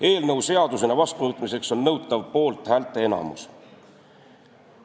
Eelnõu seadusena vastuvõtmiseks on nõutav poolthäälte enamus.